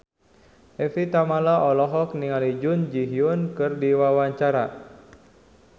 Evie Tamala olohok ningali Jun Ji Hyun keur diwawancara